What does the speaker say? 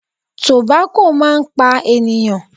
Tobacco máa ń pa ènìyàn.